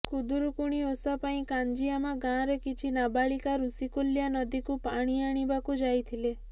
ଖୁଦୁରୁକୁଣି ଓଷା ପାଇଁ କାଞ୍ଜିଆମା ଗାଁର କିଛି ନାବାଳିକା ଋଷିକୁଲ୍ୟା ନଦୀକୁ ପାଣି ଆଣିବାକୁ ଯାଇଥିଲେ